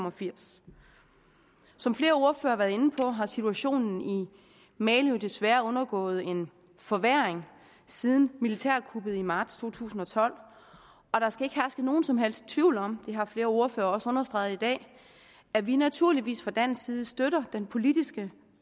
og firs som flere ordførere har været inde på har situationen i mali jo desværre undergået en forværring siden militærkuppet i marts to tusind og tolv og der skal ikke herske nogen som helst tvivl om det har flere ordførere også understreget i dag at vi naturligvis fra dansk side støtter den politiske